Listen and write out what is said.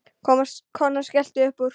Konan skellti upp úr.